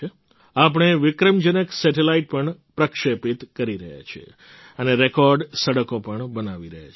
આપણે વિક્રમજનક સેટેલાઇટ પણ પ્રક્ષેપિત કરી રહ્યા છીએ અને રેકૉર્ડ સડકો પણ બનાવી રહ્યા છીએ